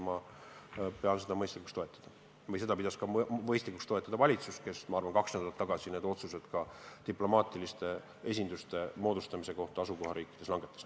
Ma pean seda mõistlikuks toetada ja seda pidas mõistlikuks toetada ka valitsus, kes kaks nädalat tagasi otsused uute diplomaatiliste esinduste avamise kohta langetas.